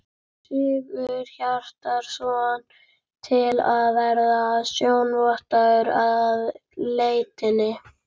Sigurhjartarson, til að vera sjónarvotta að leitinni.